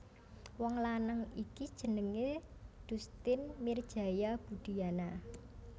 Wong lanang iki jenengé Dustin Mirjaya Budiyana